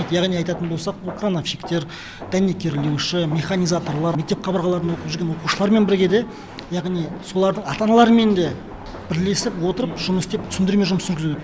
яғни айтатын болсақ бұл вулкановщиктер дәнекерлеуші механизаторлар мектеп қабырғаларында оқып жүрген оқушылармен бірге де яғни солардың ата аналарымен де бірлесіп отырып жұмыс істеп түсіндірме жұмысын жүргізу